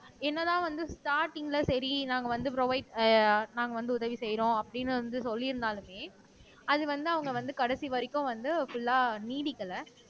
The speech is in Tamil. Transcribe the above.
என்னதான் வந்து ஸ்டார்ட்டிங்ல சரி நாங்க வந்து ப்ரொவைட் அஹ் நாங்க வந்து உதவி செய்யறோம் அப்படின்னு வந்து சொல்லியிருந்தாலுமே அது வந்து அவங்க வந்து கடைசி வரைக்கும் வந்து புல்லா நீடிக்கலை